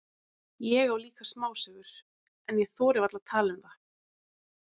Ég á líka smásögur, en ég þori varla að tala um það.